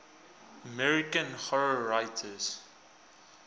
american horror writers